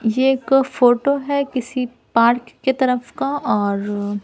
ये एक फोटो है किसी पार्क के तरफ का और--